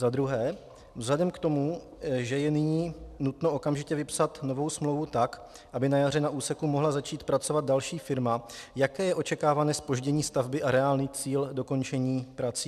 Za druhé: Vzhledem k tomu, že je nyní nutno okamžitě vypsat novou smlouvu tak, aby na jaře na úseku mohla začít pracovat další firma, jaké je očekávané zpoždění stavby a reálný cíl dokončení prací?